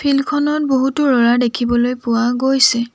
Field খনত বহুতো ল'ৰা দেখিব পোৱা গৈছে।